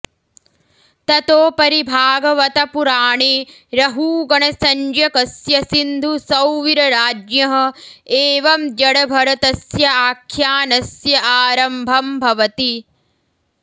ततोपरि भागवत पुराणे रहूगणसंज्ञकस्य सिन्धुसौवीरराज्ञः एवं जड भरतस्य आख्यानस्य आरम्भम् भवति